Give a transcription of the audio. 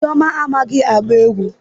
Chioma amaghi agba egwu